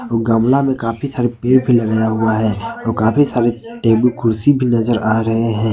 गमला में काफी सारे पेड़ पर लगाया हुआ है और काफी सारे टेबुल कुर्सी भी नजर आ रहे हैं।